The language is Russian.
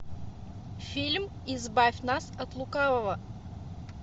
фильм избавь нас от лукавого